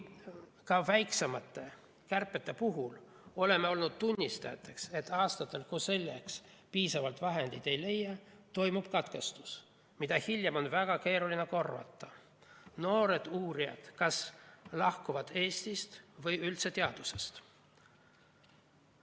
Ka väiksemate kärbete puhul oleme olnud tunnistajaks sellele, et aastatel, kui piisavalt vahendeid ei leita, toimub katkestus, mida hiljem on väga keeruline korvata, sest noored uurijad kas lahkuvad Eestist või üldse teadusest.